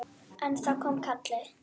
En þá kom kallið.